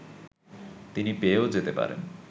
তিনি পেয়েও যেতে পারেন